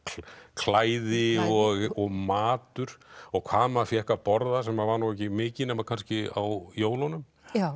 klæði og matur og hvað maður fékk að borða sem var nú ekki mikið nema kannski á jólunum